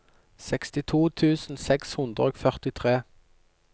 sekstito tusen seks hundre og førtitre